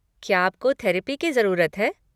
क्या आपको थेरेपी की ज़रूरत है?